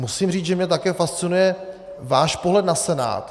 Musím říci, že mě také fascinuje váš pohled na Senát.